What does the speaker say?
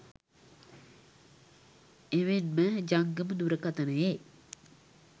එමෙන්ම ජංගම දුරකතනයේ